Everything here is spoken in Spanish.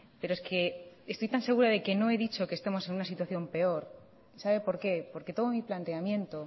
pero es que estoy tan segura de que no he dicho que estemos en una situación peor sabe por qué porque todo mi planteamiento